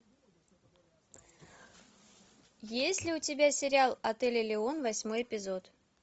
есть ли у тебя сериал отель элеон восьмой эпизод